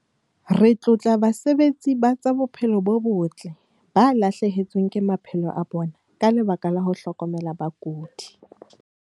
Re tlotla basebetsi ba tsa bophelo bo botle ba lahlehetsweng ke maphelo a bona ka lebaka la ho hlokomela bakudi.